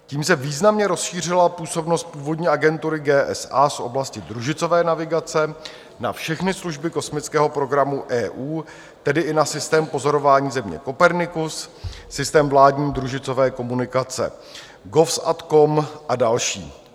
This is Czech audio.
Tím se významně rozšířila působnost původní agentury GSA z oblasti družicové navigace na všechny služby kosmického programu EU, tedy i na systém pozorování Země Copernicus, systém vládní družicové komunikace GOVSATCOM a další.